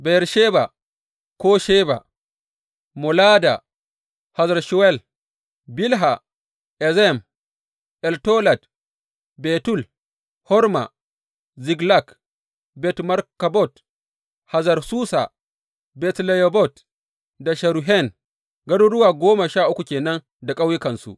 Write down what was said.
Beyersheba ko Sheba, Molada, Hazar Shuwal, Bilha, Ezem, Eltolad, Betul, Horma, Ziklag, Bet Markabot, Hazar Susa, Bet Lebayot da Sharuhen, garuruwa goma sha uku ke nan da ƙauyukansu.